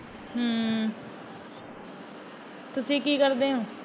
ਹਮ ਤੁਸੀਂ ਕੀ ਕਰਦੇ ਓ?